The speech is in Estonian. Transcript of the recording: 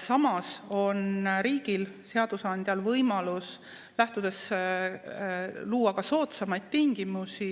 Samas on riigil, seadusandjal võimalus luua ka soodsamaid tingimusi